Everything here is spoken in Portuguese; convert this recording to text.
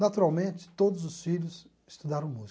Naturalmente, todos os filhos estudaram música.